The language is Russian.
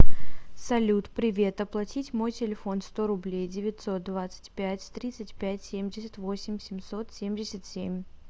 салют привет оплатить мой телефон сто рублей девятьсот двадцать пять тридцать пять семьдесят восемь семьсот семьдесят семь